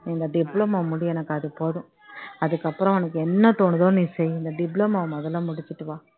நீ இந்த diploma முடி எனக்கு அது போதும் அதுக்கப்புறம் உனக்கு என்ன தோணுதோ நீ செய் இந்த diploma வை முதல்ல முடிச்சிட்டு வா